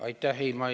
Aitäh!